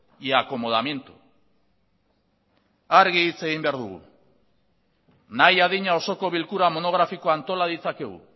y acomodamiento argi hitz egin behar dugu nahi adina osoko bilkura monografikoa antola ditzakegu